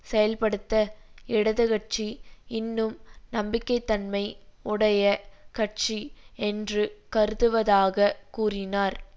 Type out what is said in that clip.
செயல்படுத்த இடது கட்சி இன்னும் நம்பிக்கை தன்மை உடைய கட்சி என்று கருதுவதாக கூறினார்